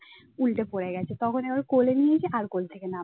উল্টে পড়ে গেছে তখন আবার কোলে নিয়েছে আর কোল থেকে নামছে